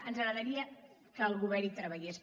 ens agradaria que el govern hi treballés